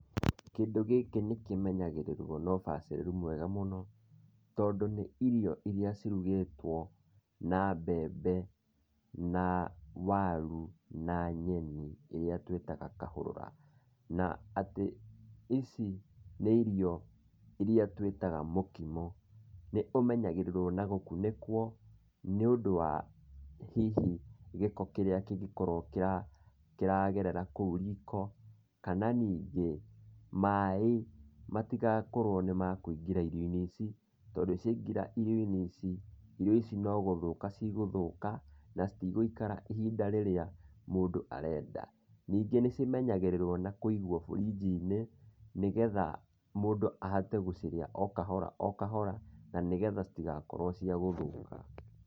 Kĩndũ gĩkĩ nĩkĩmenyagĩrĩrwo no ũbacĩrĩru mwega mũno, tondũ nĩ irio iria cirugĩtwo na mbembe, na waru, na nyeni iria tũĩtaga kahũrũra. Na, atĩ ici nĩ irio iria tũĩtaga mũkimo, nĩũmenyagĩrĩrwo na gũkunĩkwo nĩ ũndũ wa hihi gĩko kĩrĩa kĩngĩkorwo kĩragerera kũu riko kana ningĩ maĩ matigakorwo nĩ makũingĩra irio-inĩ ici tondũ ciaingĩra irio-inĩ ici, irio ici no gũthũka cigũthũka na citigũikara ihinda rĩrĩa mũndũ arenda. Ningĩ nĩ cimenyagĩrĩrwo na kũigwo burinji-inĩ nĩgetha mũndũ ahote gũcirĩa o kahora o kahora, na nĩgetha citigakorwo ciagũthũka.